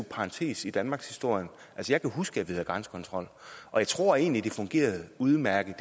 parentes i danmarkshistorien jeg kan huske at vi havde grænsekontrol og jeg tror egentlig at det fungerede udmærket